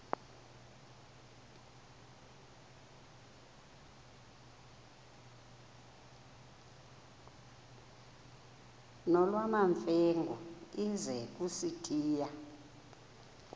nolwamamfengu ize kusitiya